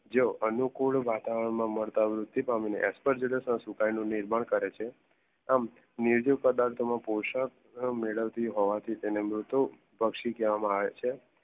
જેઓ અનુકૂદ વાતાવરણ માં મારતા વૃત્તિ પામી ને અસપેરજેનેસ ના સુકાઈ નું નિર્માણ કરે છે. આમ નિર્જુપદાર્થ નું પોષણ મેડવતી હોવા થી તેને મૃતું પક્ષી કહવામાં આવે છે